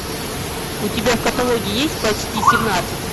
у тебя в каталоге есть почти семнадцать